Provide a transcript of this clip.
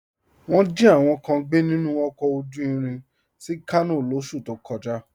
Wọn jí àwọn kàn gbẹ̀ nínu ọkọ̀ ojú ìrìn sí Kàno lọsú tó kọ̀já